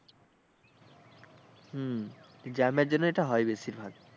হম jam এর জন্যে এটা হয় বেশিরভাগ।